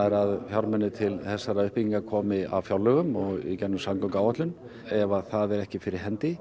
að fjármunir til þessarar uppbyggingar komi af fjárlögum og í gegnum samgönguáætlun ef það er ekki fyrir hendi